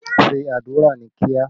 Ṣé àdúrà ní kíá!